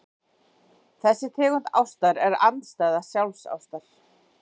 þessi tegund ástar er andstæða sjálfsástar